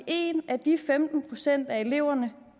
en af de femten procent af eleverne